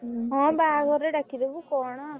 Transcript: ହଁ ବାହାଘରରେ ଡାକିଦବୁ କଣ।